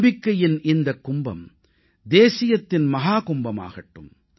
நம்பிக்கையின் இந்தக் கும்பம் தேசியத்தின் மஹாகும்பமாகட்டும்